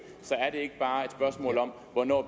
så er det ikke bare et spørgsmål om hvornår